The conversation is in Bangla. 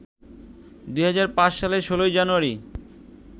২০০৫ সালের ১৬ জানুয়ারি